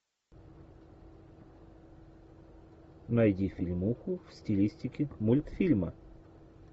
найди фильмуху в стилистике мультфильма